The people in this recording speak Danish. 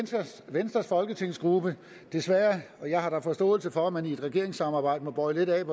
venstres folketingsgruppe jeg har da forståelse for at man i et regeringssamarbejde må bøje lidt af